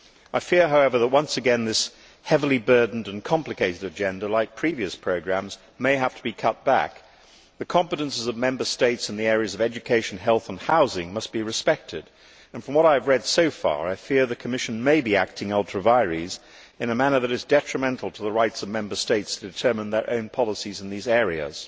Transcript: I fear, however, that once again this heavily burdened and complicated agenda, like previous programmes, may have to be cut back. The competences of Member States in the areas of education, health and housing must be respected and, from what I have read so far, I fear the Commission may be acting ultra vires in a manner that is detrimental to the rights of Member States to determine their own policies in these areas.